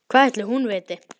Hvað ætli hún viti?